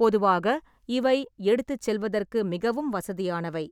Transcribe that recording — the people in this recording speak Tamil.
பொதுவாக இவை எடுத்துச் செல்வதற்கு மிகவும் வசதியானவை,